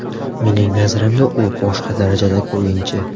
Mening nazarimda, u boshqa darajadagi o‘yinchi.